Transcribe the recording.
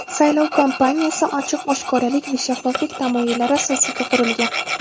Saylov kampaniyasi ochiq-oshkoralik va shaffoflik tamoyillari asosiga qurilgan.